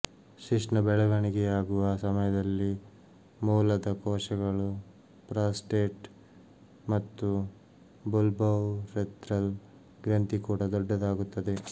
ಶಿಶ್ನ ಬೆಳವಣಿಗೆಯಾಗುವ ಸಮಯದಲ್ಲಿ ಮೂಲದ ಕೋಶಕಗಳು ಪ್ರಾಸ್ಟೇಟ್ ಮತ್ತು ಬುಲ್ಬೌರೆಥ್ರಲ್ ಗ್ರಂಥಿ ಕೂಡಾ ದೊಡ್ಡದಾಗುತ್ತದೆ